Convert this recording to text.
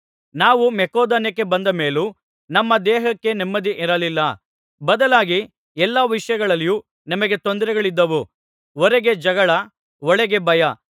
ನಾವು ಮಕೆದೋನ್ಯಕ್ಕೆ ಬಂದ ಮೇಲೂ ನಮ್ಮ ದೇಹಕ್ಕೆ ನೆಮ್ಮದಿ ಇರಲಿಲ್ಲ ಬದಲಾಗಿ ಎಲ್ಲಾ ವಿಷಯಗಳಲ್ಲಿಯೂ ನಮಗೆ ತೊಂದರೆಗಳಿದ್ದವು ಹೊರಗೆ ಜಗಳ ಒಳಗೆ ಭಯ